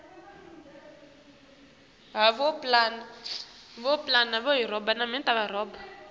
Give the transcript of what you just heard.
umgidvo welusuku lwami lwekutalwa